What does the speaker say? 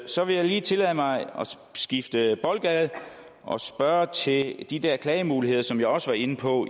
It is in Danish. så vil jeg lige tillade mig at skifte boldgade og spørge til de der klagemuligheder som jeg også var inde på